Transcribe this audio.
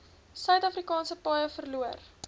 suidafrikaanse paaie verloor